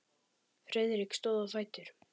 Friðrik stóð á fætur.